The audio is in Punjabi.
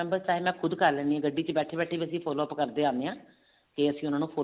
ਮੈਂ ਖੁਦ ਕਰ ਲੈਣੀ ਹਾਂ ਗੱਡੀ ਵਿੱਚ ਬੈਠੇ ਬੈਠੇ ਵੀ ਅਸੀਂ follow up ਕਰਦੇ ਆਉਂਦੇ ਹਾਂ